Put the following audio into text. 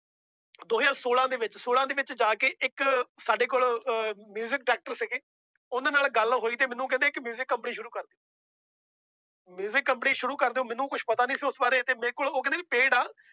ਦੋ ਹਜ਼ਾਰ ਛੋਲਾਂ ਦੇ ਵਿੱਚ ਛੋਲਾਂ ਦੇ ਵਿੱਚ ਜਾ ਕੇ ਇੱਕ ਸਾਡੇ ਕੋਲ ਅਹ music director ਸੀਗੇ ਉਹਨਾਂ ਨਾਲ ਗੱਲ ਹੋਈ ਤੇ ਮੈਨੂੰ ਕਹਿੰਦੇ ਇੱਕ music company ਸ਼ੁਰੂ ਕਰ music company ਸ਼ੁਰੂ ਕਰ ਦਓ ਮੈਨੂੰ ਕੁਛ ਪਤਾ ਨੀ ਸੀ ਉਸ ਬਾਰੇ ਤੇ ਮੇਰੇ ਕੋਲ ਉਹ ਕਹਿੰਦੇ ਵੀ paid ਆ